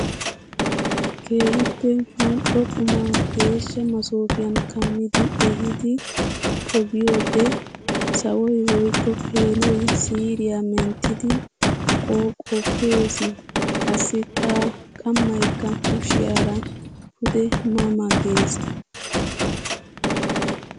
Keehippe mali'o qumma geeshsha massofiyan kammiddi ehiiddi poggiyode sawoy woykko peenoy siiriya menttiddi qoqqoppes. Qassikka qammaykka kushiyara pude ma ma gees.